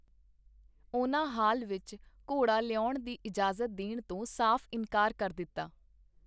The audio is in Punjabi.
ਉਹਨਾਂ ਹਾਲ ਵਿਚ ਘੋੜਾ ਲਿਆਉਣ ਦੀ ਇਜਾਜ਼ਤ ਦੇਣ ਤੋਂ ਸਾਫ ਇਨਕਾਰ ਕਰ ਦਿਤਾ.